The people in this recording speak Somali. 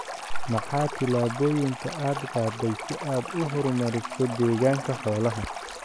Maxaa tillaabooyinka aad qaaday si aad u horumariso deegaanka xoolaha?